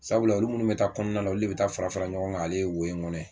Sabula olu minnu bɛ taa kɔnɔna la olu de bɛ taa fara fara ɲɔgɔn kan ale wo in kɔnɔ